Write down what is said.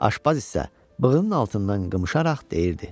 Aşpaz isə bığının altından qımışaraq deyirdi: